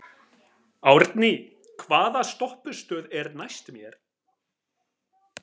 Árný, hvaða stoppistöð er næst mér?